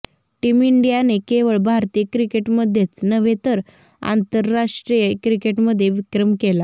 team इंडियाने केवळ भारतीय क्रिकेटमध्येच नव्हे तर आंतरराष्ट्रीय क्रिकेटमध्ये विक्रम केला